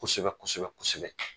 Kosɛbɛ kosɛbɛ kosɛbɛ.